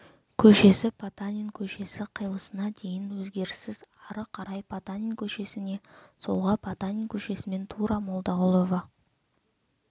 көшесі потанин көшесі қиылысына дейін өзгеріссіз ары қарай потанин көшесіне солға потанин көшесімен тура молдағұлова